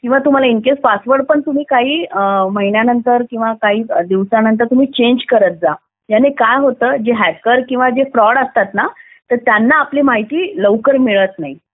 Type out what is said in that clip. किंवा पासवर्ड पण तुम्ही इन केस काही दिवसानंतर चेंज करत जा याने काय होतं जे हॅकर्स किंवा फ्रॉड असतात त्यांना आपली माहिती लवकर मिळत नाही